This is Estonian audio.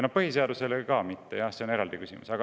Jah, põhiseadusele ka mitte, aga see on eraldi küsimus.